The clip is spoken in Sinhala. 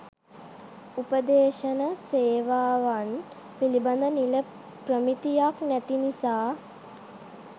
උපදේශන සේවාවන් පිළිබඳ නිල ප්‍රමිතියක් නැති නිසා